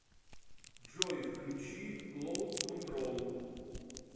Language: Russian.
джой включи клоуд контрол